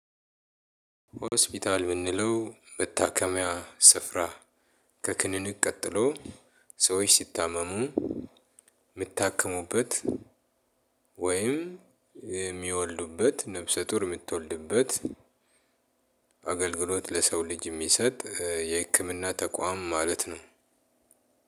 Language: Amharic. ሆስፒታል የምንለው መታከሚያ ስፍራ ከክሊኒክ ቀጥሎ ሰዎች ሲታመሙ የሚታክሙበት። ወይም የሚወልዱበት ነፍሰ ጡር የምትወልድበት። አገልግሎት ለሰው ልጅ የሚሰጥ የህክምና ተቋም ማለት ነው።